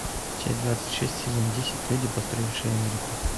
часть двадцать шесть сезон десять люди построившие америку